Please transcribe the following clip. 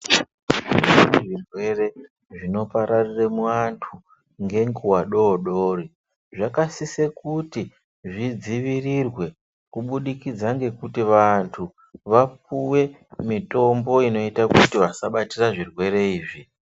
Zvirwere zvinopararire muantu ngenguwa dodori, zvakasise kuti zvidzivirirwe kubudikidze ngekuti vantu vapuwe mitombo inoite kuti tisabatire zvirwere izvi.